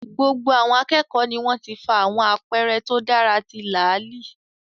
Gbogbo àwọn akẹ́kọ̀ọ́ ni wọ́n ti fa àwọn àpẹẹrẹ tó dára ti láàlì